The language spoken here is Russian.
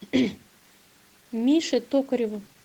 мише токареву